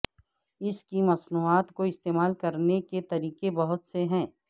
اس کی مصنوعات کو استعمال کرنے کے طریقے بہت سے ہیں